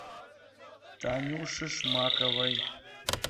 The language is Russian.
танюше шмаковой